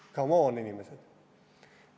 C´mon, inimesed!